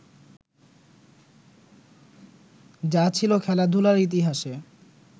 যা ছিলো খেলাধুলার ইতিহাসে